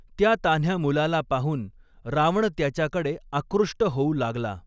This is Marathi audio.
त्या तान्ह्या मुलाला पाहून रावण त्याच्याकडे आकृष्ट होऊ लागला.